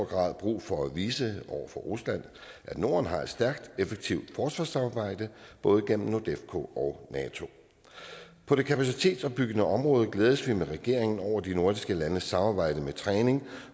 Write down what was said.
grad brug for at vise over for rusland at norden har et stærkt og effektivt forsvarssamarbejde både igennem nordefco og nato på det kapacitetsopbyggende område glædes vi med regeringen over de nordiske landes samarbejde med træning